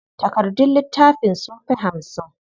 Takardun littafin sunfi hamsin.